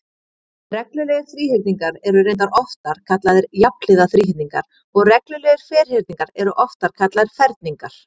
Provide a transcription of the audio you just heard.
Reglulegir þríhyrningar eru reyndar oftar kallaðir jafnhliða þríhyrningar og reglulegir ferhyrningar eru oftar kallaðir ferningar.